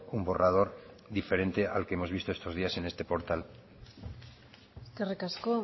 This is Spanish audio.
un borrador diferente al que hemos visto estos días en este portal eskerrik asko